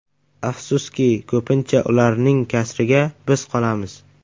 Afsuski, ko‘pincha ularning kasriga biz qolamiz.